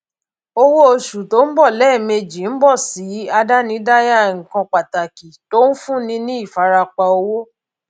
owó oṣù tó ń bọ lẹẹmejì ń bọ sí àdánidáyà nǹkan pàtàkì tó ń fúnni ní ìfarapa owó